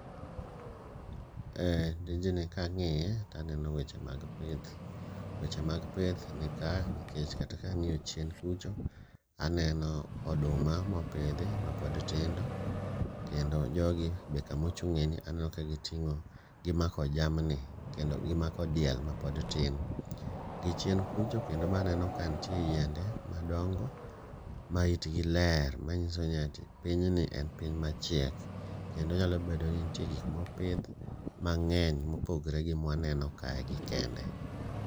Eh tijni kang'iye to aneno weche mag pith. Weche mag pith nika nikech kata ka ang'iyo chien kucha, aneno oduma mopidhi mapod tindo, kendo jogi bende kamochung'ie ni aneno ka gimako jamni gimako diel mapod tin. Gichien kucha kendo be aneno kanitie yiende madongo maitgi ler manyiso ni ati pinyni en piny machiek kendo nyalobedo ni nitie gik mopidh mang'eny mopogore gi mae mawaneno kaegi kende.